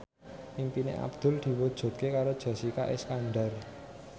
impine Abdul diwujudke karo Jessica Iskandar